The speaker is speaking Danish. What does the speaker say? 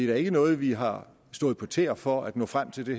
er ikke noget vi har stået på tæer for at nå frem til det